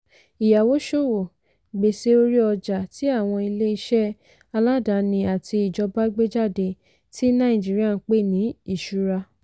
ìyáwóṣòwò - gbèsè orí ọjà tí àwọn ilé-iṣẹ́ aládani àti ìjọba gbé jáde tí nàìjíríà ń pè ní ìṣura.